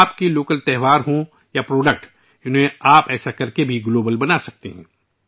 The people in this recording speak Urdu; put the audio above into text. آپ کے مقامی تہوار ہوں یا مصنوعات ، آپ ان کے ذریعے بھی انہیں دنیا تک پہنچا سکتے ہیں